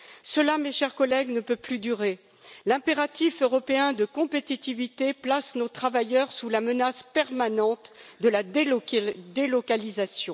Cela, mes chers collègues, ne peut plus durer. L'impératif européen de compétitivité place nos travailleurs sous la menace permanente de la délocalisation.